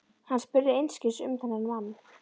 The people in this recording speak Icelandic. Hann spurði einskis um þennan mann.